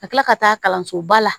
Ka kila ka taa kalanso ba la